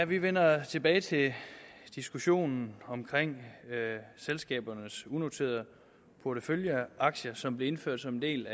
vi vender tilbage til diskussionen om selskabernes unoterede porteføljeaktier som blev indført som en del